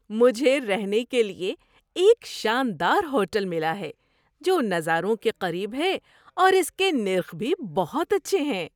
مجھے رہنے کے لیے ایک شاندار ہوٹل ملا ہے جو نظاروں کے قریب ہے اور اس کے نرخ بھی بہت اچھے ہیں۔